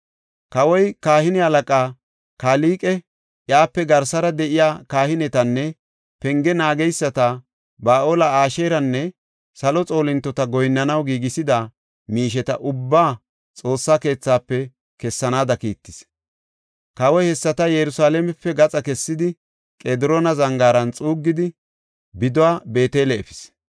Kawoy kahine halaqa Kalqe, iyape garsara de7iya kahinetanne penge naageysata Ba7aale, Asheeranne salo xoolintota goyinnanaw giigisida miisheta ubbaa Xoossa keethafe kessanaada kiittis. Kawoy hessata Yerusalaamepe gaxa kessidi, Qediroona Zangaaran xuuggidi, biduwa Beetele efis.